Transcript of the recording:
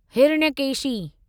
Hiranyakeshi